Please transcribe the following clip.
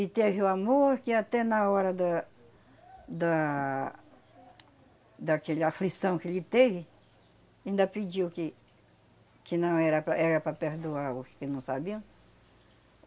E teve o amor que até na hora da... da daquele aflição que ele teve, ainda pediu que que não era para era para perdoar os que não sabiam.